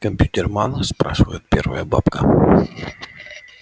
компьютерман спрашивает первая бабка